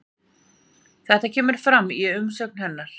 Þetta kemur fram í umsögn hennar